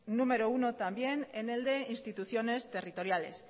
número uno también en el de instituciones territoriales